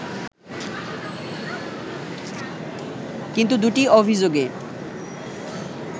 কিন্তু দু’টি অভিযোগে